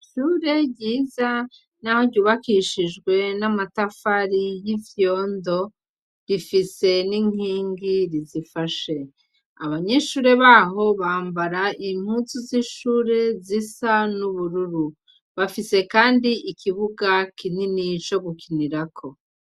Ishure ryiza n'aho ryubakishijwe n'amatafari y'ivyondo, rifise n'inkingi rizifashe . Abanyeshure baho bambara imputsu z'ishure zisa n'ubururu. Bafise kandi ikibuga kinini co gukinirako.